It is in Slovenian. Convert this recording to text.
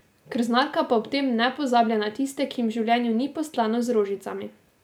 Krznarka pa ob tem ne pozablja na tiste, ki jim v življenju ni postlano z rožicami.